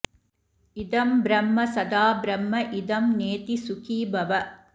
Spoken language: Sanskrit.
इदं ब्रह्म सदा ब्रह्म इदं नेति सुखी भव